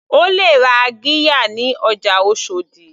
O lè ra qirya ní ọjà oshòdì.